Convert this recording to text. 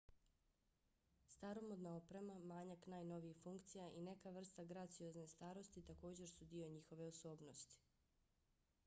staromodna oprema manjak najnovijih funkcija i neka vrsta graciozne starosti također su dio njihove osobnosti